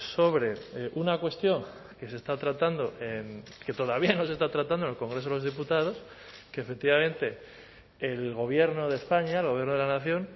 sobre una cuestión que se está tratando que todavía no se está tratando en el congreso de los diputados que efectivamente el gobierno de españa el gobierno de la nación